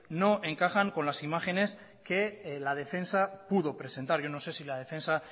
no encajan con las imágenes que la defensa pudo presentar yo no sé si la defensa